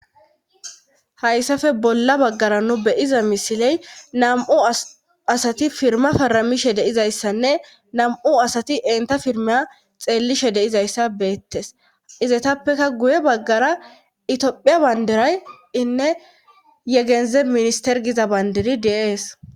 Hayssafe bolla baggara nu beyiza misiley nam'o asati firma faramishe deizayssanne nam'o asati enta pirmea xeellishe deizayssa beettes izaytappeka guye baggara itiophiya bandiray inne yegeze minister giza bandiri deees.